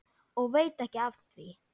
Og veit ekki af því.